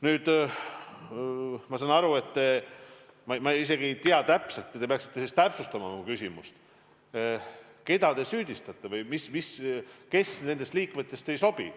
Nüüd, ma isegi ei tea täpselt – te peaksite oma küsimust täpsustama –, keda te süüdistate või kes nendest liikmetest ei sobi.